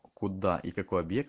куда и какой объект